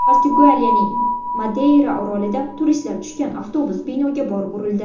Portugaliyaning Madeyra orolida turistlar tushgan avtobus binoga borib urildi.